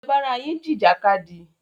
Ẹ lọ bára yín jìjà kadì!